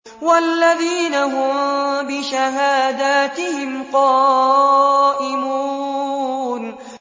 وَالَّذِينَ هُم بِشَهَادَاتِهِمْ قَائِمُونَ